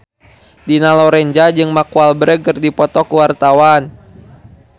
Dina Lorenza jeung Mark Walberg keur dipoto ku wartawan